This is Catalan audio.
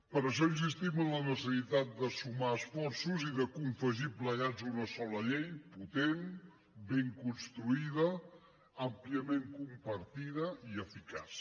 per això insistim en la necessitat de sumar esforços i de confegir plegats una sola llei potent ben construïda àmpliament compartida i eficaç